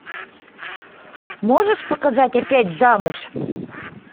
можешь показать опять замуж